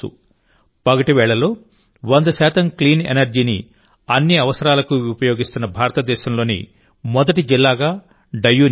పగటి వేళల్లో వంద శాతం క్లీన్ ఎనర్జీని అన్ని అవసరాలకు ఉపయోగిస్తున్న భారతదేశంలోని మొదటి జిల్లాగా డయ్యూ నిలిచింది